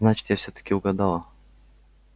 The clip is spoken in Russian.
значит я всё-таки угадала